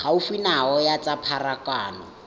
gaufi nao ya tsa pharakano